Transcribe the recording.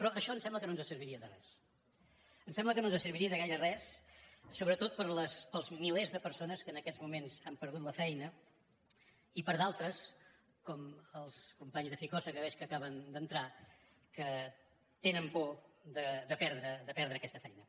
però això ens sembla que no ens serviria de res ens sembla que no serviria de gaire res sobretot pels milers de persones que en aquests moments han perdut la feina i per a d’altres com els companys de ficosa que veig que acaben d’entrar que tenen por de perdre aquesta feina